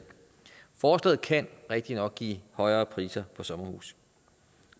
forslaget kan rigtigt nok give højere priser på sommerhuse